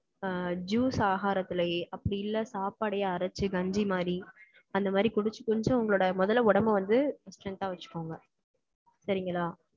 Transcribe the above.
அஹ் juice ஆகாரத்துலயே, அப்படி இல்லை, சாப்பாடையே அரைச்சு, கஞ்சி மாதிரி, அந்த மாதிரி குடிச்சு, கொஞ்சம் உங்களோட முதல்ல, உடம்பை வந்து, strength ஆ வச்சுக்கோங்க சரிங்களா?